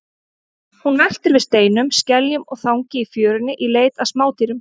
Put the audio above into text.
Hún veltir við steinum, skeljum og þangi í fjörunni í leit að smádýrum.